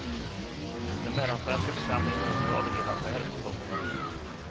Den mellansvenska församlingen mörklade hela affären. punkt